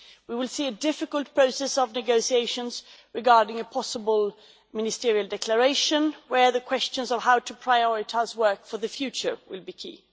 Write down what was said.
We will see a difficult process of negotiations regarding a possible ministerial declaration where the questions of how to prioritise work for the future will be key.